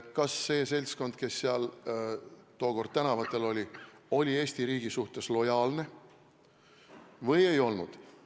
Kas see seltskond, kes tuli tookord tänavatele, oli Eesti riigi suhtes lojaalne või ei olnud?